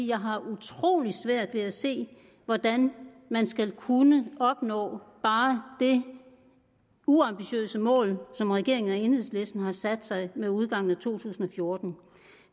jeg har utrolig svært ved at se hvordan man skal kunne opnå bare det uambitiøse mål som regeringen og enhedslisten har sat sig med udgangen af to tusind og fjorten